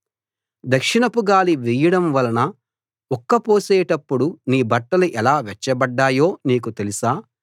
దక్షిణపుగాలి వీయడం వలన ఉక్క పోసేటప్పుడు నీ బట్టలు ఎలా వెచ్చబడ్డాయో నీకు తెలుసా